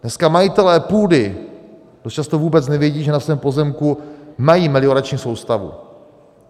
Dneska majitelé půdy dost často vůbec nevědí, že na svém pozemku mají meliorační soustavu.